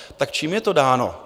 Tak čím je to dáno?